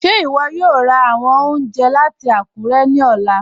Ṣe iwọ yòò rá awọn ọ̀unjẹ̀ lati Akure ni ọlà?